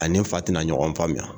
A ni fa tɛna ɲɔgɔn faamuya